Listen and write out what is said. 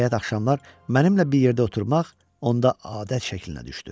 Nəhayət, axşamlar mənimlə bir yerdə oturmaq onda adət şəklinə düşdü.